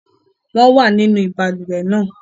Wọ́n wà nínú balùwẹ̀ náà